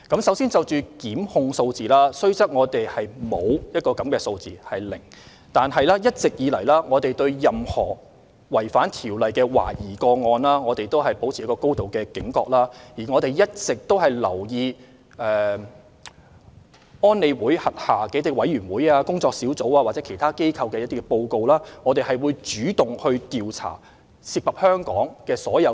首先，就檢控數字，雖然我們的數字是"零"，但一直以來，我們對任何懷疑違反《條例》的個案都保持高度警覺，而且我們一直留意聯合國安理會轄下委員會、專家組或其他機構的報告，主動調查所有涉及香港的懷疑個案。